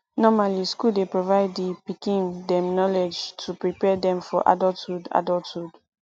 normally school dey provide di pikim dem knowledge to prepare dem for adulthhood adulthhood